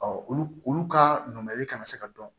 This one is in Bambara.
olu olu ka naamuyali kana se ka dɔn